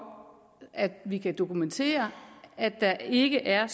at vi kan dokumentere at der ikke er